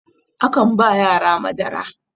akan ba yara Madara